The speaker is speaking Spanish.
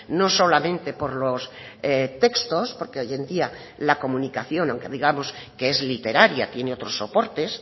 no solamente por los textos porque hoy en día la comunicación aunque digamos que es literaria tiene otros soportes